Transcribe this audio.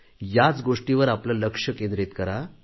याच गोष्टीवर आपले लक्ष केंद्रित करा